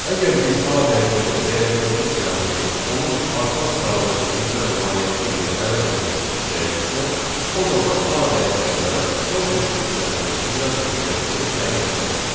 Əgər biz A dəyişənin dəyərindəki siyahını onun artan sıralamada düzülən variantı ilə əvəz etmək istəyiriksə, o zaman A dəyişəninə sorted funksiyasının icra nəticəsini təyin etməliyik.